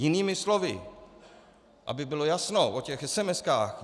Jinými slovy, aby bylo jasno o těch SMS.